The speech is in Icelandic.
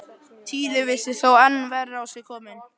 Týri virtist þó enn verr á sig kominn.